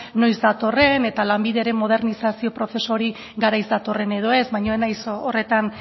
noiz datorren eta lanbideren modernizazio prozesu hori garaiz datorren edo ez baina ez naiz horretan